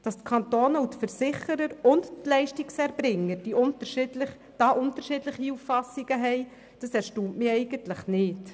Dass die Kantone, die Versicherer und die Leistungserbringer hier unterschiedliche Auffassungen haben, erstaunt mich nicht.